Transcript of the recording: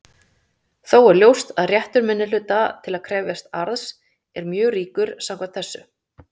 Þó er ljóst að réttur minnihluta til að krefjast arðs er mjög ríkur samkvæmt þessu.